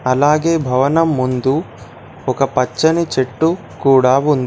అలాగే భవనం ముందు ఒక పచ్చని చెట్టు కూడా ఉంది.